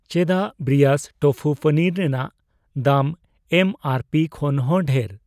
ᱪᱮᱫᱟᱜ ᱵᱨᱤᱭᱟᱥ ᱴᱳᱯᱷᱩ ᱯᱚᱱᱤᱨ ᱨᱮᱱᱟᱜ ᱫᱟᱢ ᱮᱢ ᱟᱨ ᱯᱤ ᱠᱷᱚᱱᱦᱚ ᱰᱷᱮᱨ?